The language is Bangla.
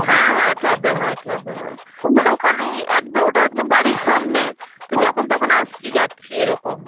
হ্যাঁ হ্যাঁ club এ হয়, club এ হয়. ওখানে একদম~ ওটা একদম বাড়ির সামনে, তো যখন তখন আসছি যাচ্ছি, এরকম.